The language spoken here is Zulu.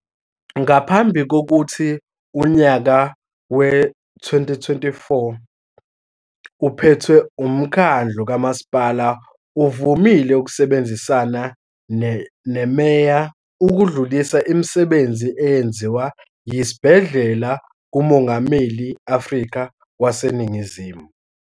Ngaphambi kokuthi unyaka wezi-2024 uphethe umkhandlu kamaSipala uvumile ukusebenzisana neMeya ukudlulisa imisebenzi eyenziwa yisibhedlela kuMongameli Afrika wase Ningizimu.